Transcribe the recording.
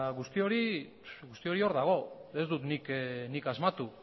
guzti hori hor dago ez dut nik asmatu